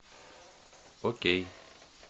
окей